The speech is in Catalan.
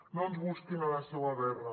no ens busquin a la seua guerra